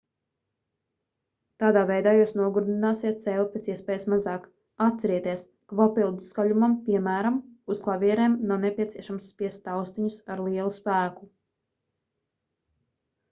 tādā veidā jūs nogurdināsiet sevi pēc iespējas mazāk atcerieties ka papildu skaļumam piemēram uz klavierēm nav nepieciešams spiest taustiņus ar lielu spēku